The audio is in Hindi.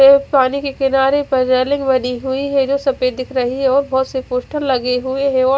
एव पानी के किनारे पर वदि हुई है जो सफेद दिख रही है और बहोत से पोस्टर लगे हुए है और--